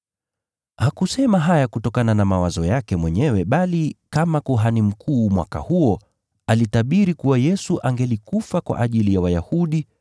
Hakusema haya kutokana na mawazo yake mwenyewe bali kama kuhani mkuu mwaka huo, alitabiri kuwa Yesu angelikufa kwa ajili ya taifa la Wayahudi,